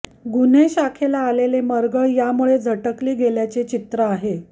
गुन्हे शाखेला आलेले मरगळ यामुळे झटकली गेल्याचे चित्र आहे